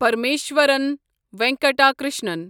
Parameshwaran Venkata Krishnan